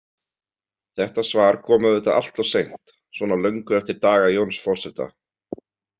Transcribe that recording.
Þetta svar kom auðvitað alltof seint, svona löngu eftir daga Jóns forseta.